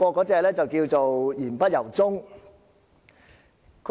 這就叫作"賊喊捉賊"。